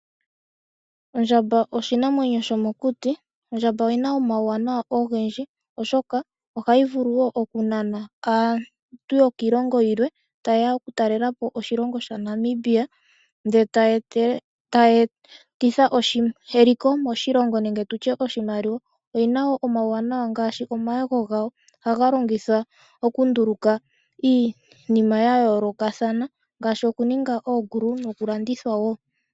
Ondjamba oshinamwenyo shomokuti . Ondjamba oyina omauwanawa ngaashi okunana aatalelipo okuza kiilongo niilongo . Aatalelipo ihayeya oonyala dhowala ihe ohaa etele iimaliwa . Shimwe shomuuwanawa natango osho omayego ngoka haga longithwa mokulonga iilongomwa yayoolokathana.